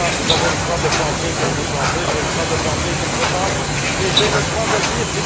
avez le droit de penser comme vous pensez, j'ai le droit de penser comme je pense et j'ai le droit de le dire.